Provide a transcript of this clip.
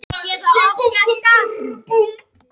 Heimkynni þess eru í Afríku.